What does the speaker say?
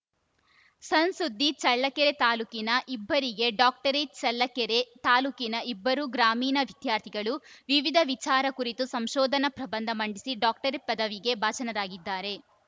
ಸಣ್‌ಸುದ್ದಿ ಚಳ್ಳಕೆರೆ ತಾಲೂಕಿನ ಇಬ್ಬರಿಗೆ ಡಾಕ್ಟರೇಟ್‌ ಚಳ್ಳಕೆರೆ ತಾಲೂಕಿನ ಇಬ್ಬರು ಗ್ರಾಮೀಣ ವಿದ್ಯಾರ್ಥಿಗಳು ವಿವಿಧ ವಿಚಾರ ಕುರಿತು ಸಂಶೋಧನಾ ಪ್ರಬಂಧ ಮಂಡಿಸಿ ಡಾಕ್ಟರೇಟ್‌ ಪದವಿಗೆ ಭಾಜನರಾಗಿದ್ದಾರೆ